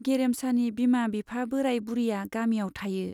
गेरेमसानि बिमा-बिफा बोराय-बुरिया गामियाव थायो।